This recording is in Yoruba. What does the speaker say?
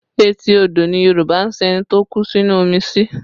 Etí odò ni Yorùbá ń sin ẹni tó kú sínú omi sí